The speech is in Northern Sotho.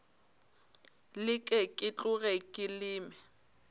leke ke tloge ke leme